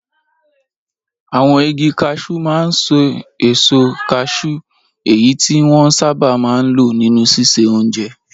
Àwọn igi kashúú máa ń ṣe èso kashúú, èyí tí wọ́n sábà máa ń lò nínú ṣíṣe oúnjẹ.